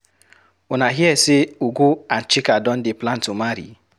Una hear say Ugo and Chika don dey plan to marry?